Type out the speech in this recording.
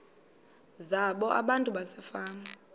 zabo abantu basefama